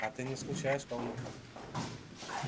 а ты не скучаешь по внукам